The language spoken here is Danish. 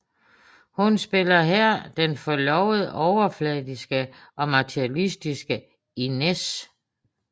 Hun spiller her den forlovet overfladiske og materilistiske Inez